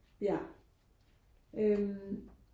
Ja øh